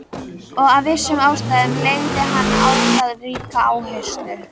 Og af vissum ástæðum legði hann á það ríka áherslu.